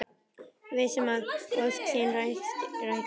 Viss um að ósk sín rætist.